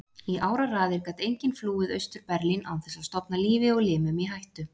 Í áraraðir gat enginn flúið Austur-Berlín án þess að stofna lífi og limum í hættu.